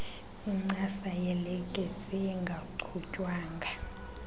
incasa yelekesi engachutywanga